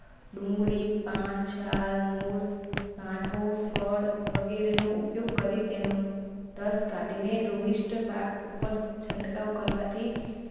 ડુંગળી પાન છાલ મૂળ ગાંઠો ફળ વગેરેનો ઉપયોગ કરી તેનો રસ કાઢી ને રોગિષ્ટ પાક ઉપર છંટકાવ કરવાથી.